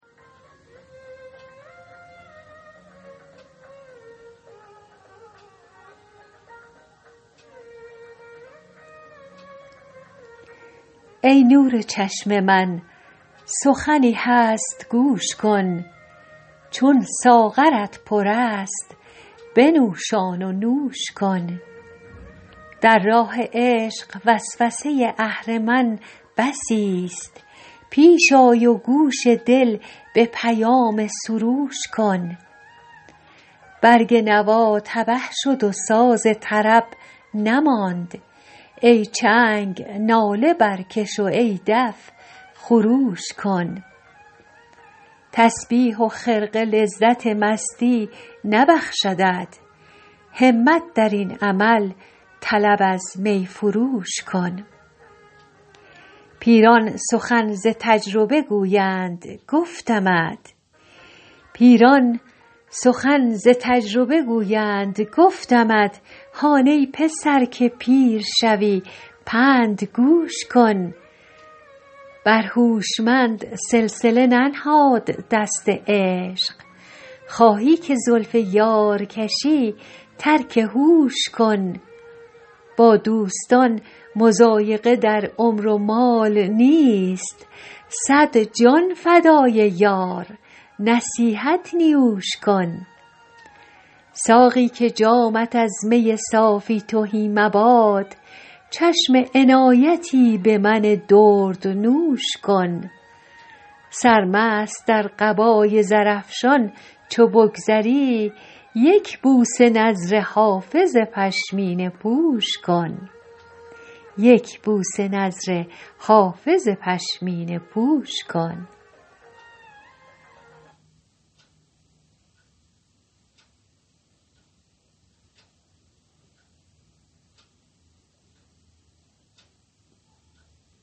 ای نور چشم من سخنی هست گوش کن چون ساغرت پر است بنوشان و نوش کن در راه عشق وسوسه اهرمن بسیست پیش آی و گوش دل به پیام سروش کن برگ نوا تبه شد و ساز طرب نماند ای چنگ ناله برکش و ای دف خروش کن تسبیح و خرقه لذت مستی نبخشدت همت در این عمل طلب از می فروش کن پیران سخن ز تجربه گویند گفتمت هان ای پسر که پیر شوی پند گوش کن بر هوشمند سلسله ننهاد دست عشق خواهی که زلف یار کشی ترک هوش کن با دوستان مضایقه در عمر و مال نیست صد جان فدای یار نصیحت نیوش کن ساقی که جامت از می صافی تهی مباد چشم عنایتی به من دردنوش کن سرمست در قبای زرافشان چو بگذری یک بوسه نذر حافظ پشمینه پوش کن